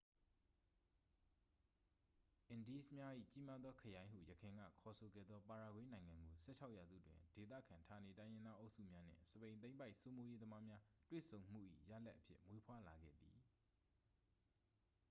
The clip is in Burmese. """အင်ဒီးစ်များ၏ ကြီးမားသောခရိုင်" ဟု ယခင်က ခေါ်ဆိုခဲ့သော ပါရာဂွေးနိုင်ငံကို ၁၆ ရာစုတွင် ဒေသခံဌာနေတိုင်းရင်းသားအုပ်စုများနှင့် စပိန်သိမ်းပိုက်စိုးမိုးရေးသမားများ တွေ့ဆုံမှု၏ ရလာဒ်အဖြစ် မွေးဖွားလာခဲ့သည်။